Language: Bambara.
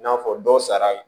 I n'a fɔ dɔ sara